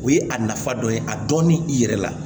O ye a nafa dɔ ye a dɔnni i yɛrɛ la